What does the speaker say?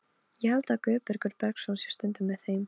Ég held að Guðbergur Bergsson sé stundum með þeim.